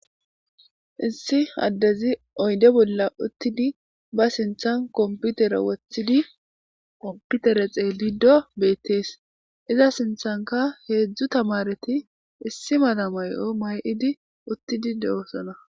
Issi addezi oyde bolla uttidi ba sinthan komputere wothidi komputere xeelido beettees iza sinthanka heedzdzu tamareti issi mada may'o may'idi uttidi de'osona.